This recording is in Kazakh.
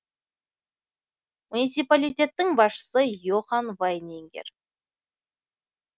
муниципалитеттің басшысы йохан вайнингер